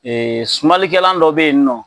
Ee sumalikɛlan dɔ be yen nɔ